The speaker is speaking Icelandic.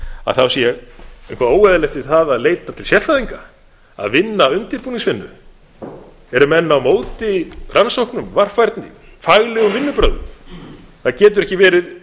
að þá sé eitthvað óeðlilegt að leita til sérfræðinga að vinna undirbúningsvinnu eru menn á móti rannsóknum varfærni faglegum vinnubrögðum virðulegi forseti það getur ekki verið